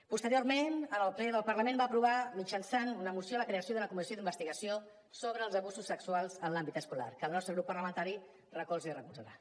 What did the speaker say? posteriorment el ple del parlament va aprovar mitjançant una moció la creació d’una comissió d’investigació sobre els abusos sexuals en l’àmbit escolar que el nostre grup parlamentari recolza i recolzarà